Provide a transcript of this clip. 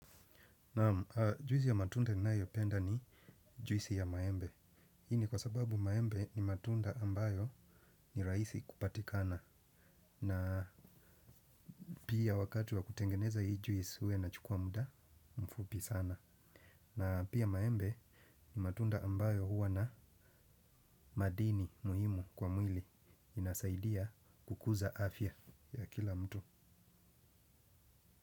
Naam juisi ya matunda ninayo penda ni juisi ya maembe. Hii ni kwa sababu maembe ni matunda ambayo ni rahisi kupatikana. Na pia wakati wa kutengeneza hii juisi huwa inachukua muda mfupi sana. Na pia maembe ni matunda ambayo huwa na madini muhimu kwa mwili inasaidia kukuza afya ya kila mtu.